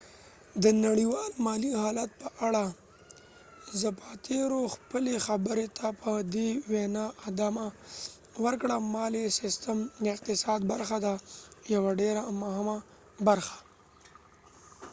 د نړیوال مالی حالت په اړه زپاتیرو خپلی خبری ته په دي وينا ادامه ورکړه : مالی سیستم د اقتصاد برخه ده ، یوه ډیره مهمه برخه